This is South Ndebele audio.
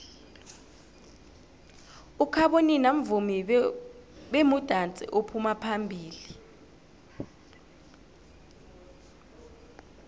ukhabonino mvumi bemudansi ophuma phambilo